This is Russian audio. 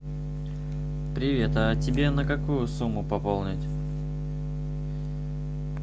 привет а тебе на какую сумму пополнить